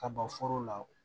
Ka ban foro la